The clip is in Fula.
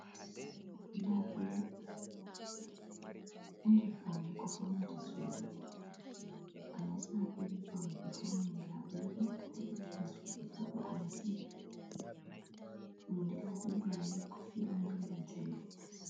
Labule, ɗo nder poune ko faunata sudu takanasma irin paune ɓe fauniri labula ɗo, ɗo ɓeddina sudu voɗugo massin, nonde labule mai ni kofi on benanta milik.